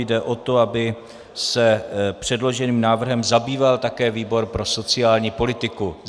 Jde o to, aby se předloženým návrhem zabýval také výbor pro sociální politiku.